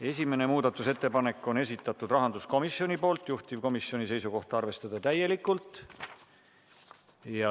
Esimene muudatusettepanek on rahanduskomisjoni esitatud, juhtivkomisjoni seisukoht: arvestada täielikult.